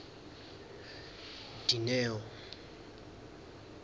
dineo